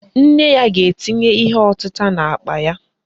Nne ya ga-etinye ihe ọtịta n'akpa ya